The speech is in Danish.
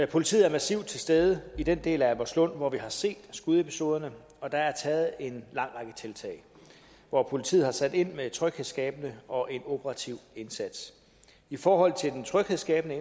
politiet er massivt til stede i den del af albertslund hvor vi har set skudepisoderne og der er taget en lang række tiltag hvor politiet har sat ind med en tryghedsskabende og en operativ indsats i forhold til den tryghedsskabende